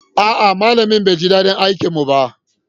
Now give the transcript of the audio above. A'a, malamin bai ji daɗin aikinmu ba.